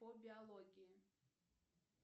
по биологии